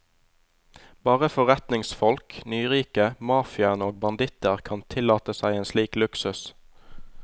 Bare forretningsfolk, nyrike, mafiaen og banditter kan tillate seg en slik luksus.